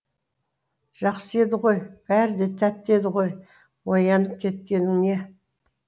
жақсы еді ғой бәрі де тәтті еді ғой оянып кеткенің не